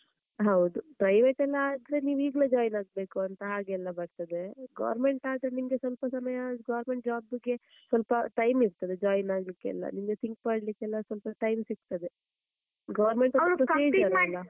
ಹೌದು private ಎಲ್ಲಾ ಆದ್ರೆ, ನೀವ್ ಈಗ್ಲೇ join ಆಗ್ಬೇಕಂತ ಹಾಗೆಲ್ಲಾ ಬರ್ತದೆ. government ಆದ್ರೆ ನಿಮ್ಗೆ ಸ್ವಲ್ಪ ಸಮಯ government job ಗೆ ಸ್ವಲ್ಪ time ಇರ್ತದೆ join ಆಗ್ಲಿಕ್ಕೆಲ್ಲಾ, ನಿಮಗೆ think ಮಾಡ್ಲಿಕ್ಕೆಲ್ಲಾ ಸ್ವಲ್ಪ time ಸಿಗ್ತದೆ .